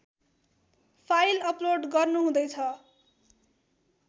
file upload गर्नुहुँदैछ